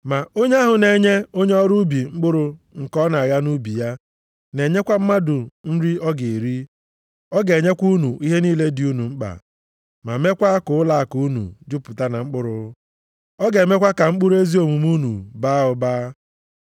Ma onye ahụ na-enye onye ọrụ ubi mkpụrụ nke ọ na-agha nʼubi ya, na-enyekwa mmadụ nri ọ ga-eri, ọ ga-enyekwa unu ihe niile dị unu mkpa, meekwa ka ụlọakụ unu jupụta na mkpụrụ. Ọ ga-emekwa ka mkpụrụ ezi omume unu baa ụba.